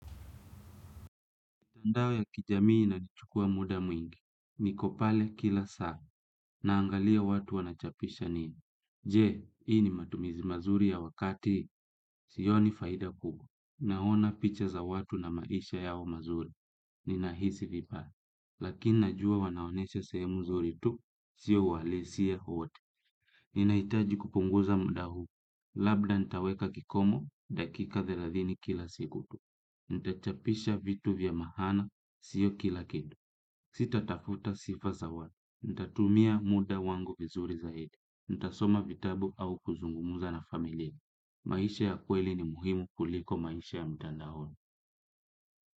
Mtandao ya kijamii inachukua muda mwingi, niko pale kila saa, naangalia watu wanachapisha nini. Je, hii ni matumizi mazuri ya wakati, sioni faida kubwa. Naona picha za watu na maisha yao mazuri, ninahisi vipa. Lakini najua wanaonesha sehemu zuri tu, sio uhalisia wote. Ninahitaji kupunguza muda huu, labda nitaweka kikomo, dakika thelathini kila siku tu. Nitachapisha vitu vya maana, siyo kila kitu sitatafuta sifa za watu nitatumia muda wangu vizuri zaidi nitasoma vitabu au kuzungumza na familia. Maisha ya kweli ni muhimu kuliko maisha ya mtandaoni.